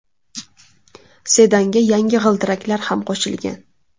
Sedanga yangi g‘ildiraklar ham qo‘shilgan.